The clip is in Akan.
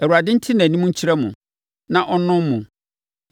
Awurade nte nʼanim nkyerɛ mo na ɔnnom mo.